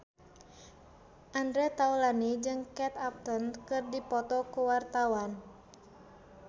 Andre Taulany jeung Kate Upton keur dipoto ku wartawan